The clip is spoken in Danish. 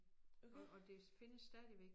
Og og det findes stadigvæk